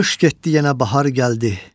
Qış getdi yenə bahar gəldi.